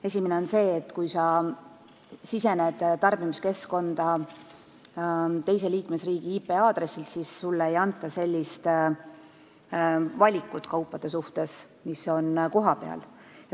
Esimene on see, et kui sa sisened tarbimiskeskkonda teise liikmesriigi IP-aadressilt, siis sulle ei näidata sellist kaupade valikut, mis on kohapeal.